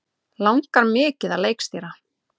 Langar mikið að leikstýra